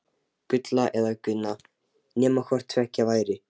Gulla eða Gunna, nema hvort tveggja væri.